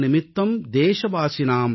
सप्ताह निमित्तं देशवासिनां